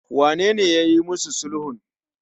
wanene yayi musu sulhun?